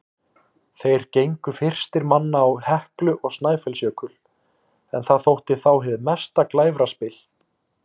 Þeir gengu fyrstir manna á Heklu og Snæfellsjökul, en það þótti þá hið mesta glæfraspil.